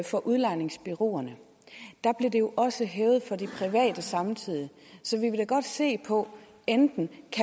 for udlejningsbureauerne blev det jo også hævet for de private samtidig så vi vil da godt se på enten